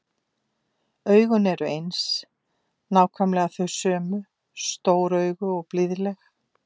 Augun eru eins, nákvæmlega þau sömu, stór augu og blíðleg.